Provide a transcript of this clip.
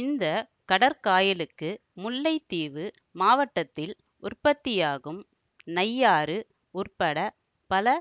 இந்த கடற்காயலுக்கு முல்லைத்தீவு மாவட்டத்தில் உற்பத்தியாகும் நையாறு உட்பட பல